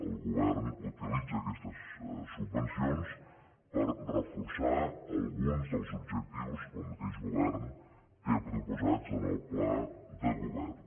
el govern utilitza aquestes subvencions per reforçar alguns dels objectius que el mateix govern té proposats en el pla de govern